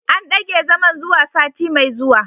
An dage zaman zuwa sati mai zuwa